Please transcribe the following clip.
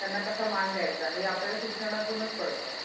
त्यांना कसा मान द्यायचा? हे आपल्याला शिक्षणातूनचं कळतं.